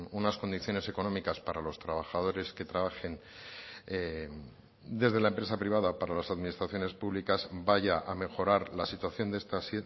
unas condiciones económicas para los trabajadores que trabajen desde la empresa privada para las administraciones públicas vaya a mejorar la situación de estas